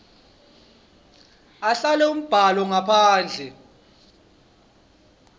ahlele umbhalo ngaphandle